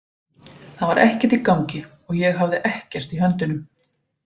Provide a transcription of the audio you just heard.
Það var ekkert í gangi og ég hafði ekkert í höndunum.